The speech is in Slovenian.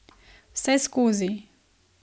Vseskozi.